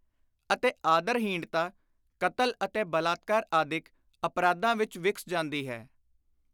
ਅਤੇ ਆਦਰ-ਹੀਣਤਾ ਕਤਲ ਅਤੇ ਬਲਾਤਕਾਰ ਆਦਿਕ ਅਪਰਾਧਾਂ ਵਿਚ ਵਿਕਸ ਜਾਂਦੀ ਹੈ।